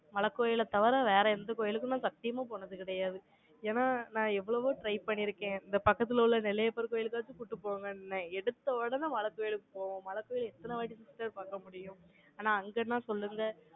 மலைக்கோயிலைத் தவிர, வேற எந்த கோயிலுக்கும், நான் சத்தியமா போனது கிடையாது. ஏன்னா, நான் எவ்வளவோ try பண்ணியிருக்கேன். இந்த பக்கத்துல உள்ள, நெல்லையப்பர் கோயிலுக்காச்சும் கூட்டிட்டு போங்கன்னேன். எடுத்தவுடனே மழை கோவிலுக்கு போகும். மழை கோவில் எத்தன வாட்டி sister பாக்க முடியும்? ஆனா, அங்கன்னா சொல்லுங்க.